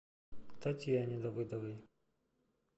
татьяне давыдовой